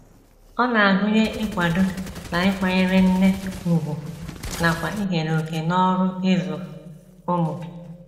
Ọ na - agụnye ịkwado na ịkwanyere nne ùgwù nakwa ikere òkè n’ọrụ ịzụ ụmụ.